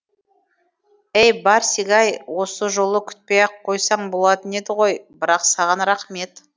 әй барсик ай осы жолы күтпей ақ қойсаң болатын еді ғой бірақ саған рахмет